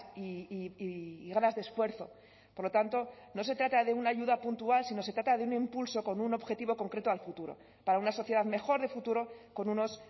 y ganas de esfuerzo por lo tanto no se trata de una ayuda puntual sino se trata de un impulso con un objetivo concreto al futuro para una sociedad mejor de futuro con unos